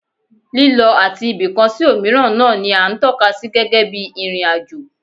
Lílọ láti ibìkan sí òmíràn náà ni à ń tọ́ka sí gẹ́gẹ́ bí ìrìn-àjò